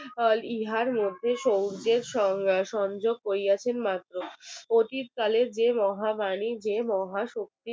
ইহার মধ্যে সৌর্যের সংযোগ করিয়াছেন মাত্র অতীতকালের যে মহাবানী যে মহাশক্তির